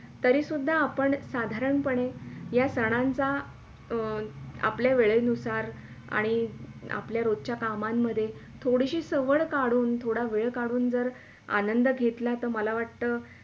तरी सुदधा आपण साधारण पणे या सणांच्या अं आपल्या वेळे नुसार आणि आपल्या रोजच्या कामांमध्ये थोडीशी सवड काढून थोडासा वेळ काढून जर आनंद घेतला तर मला वाटतं.